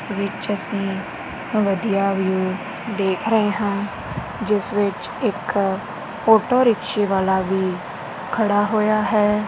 ਇੱਸ ਵਿੱਚ ਅਸੀਂ ਵਧੀਆ ਵਿਊ ਦੇਖ ਰਹੇ ਹਾਂ ਜਿੱਸ ਵਿੱਚ ਇੱਕ ਔਟੋਰਿਕਸ਼ੇ ਰਿਕਸ਼ੇ ਵਾਲਾ ਵੀ ਖੜਾ ਹੋਇਆ ਹੈ।